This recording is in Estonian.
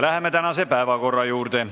Läheme tänase päevakorra juurde.